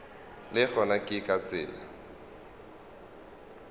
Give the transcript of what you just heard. le gona ke ka tsela